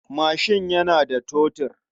Mashin yana da totur.